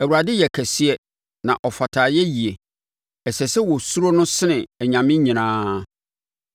Awurade yɛ kɛseɛ na ɔfata ayɛyie; ɛsɛ sɛ wɔsuro no sene anyame nyinaa.